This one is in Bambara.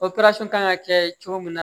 kan ka kɛ cogo min na